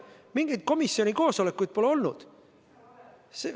Mingeid komisjoni koosolekuid pole olnud.